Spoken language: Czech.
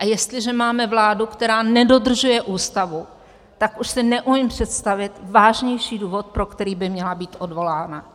A jestliže máme vládu, která nedodržuje Ústavu, tak už si neumím představit vážnější důvod, pro který by měla být odvolána.